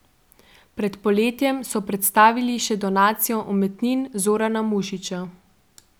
Pred poletjem so predstavili še donacijo umetnin Zorana Mušiča.